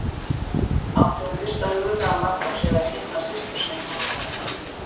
Átti hún fyrst að huga að Magnúsi eða sinna systur sinni?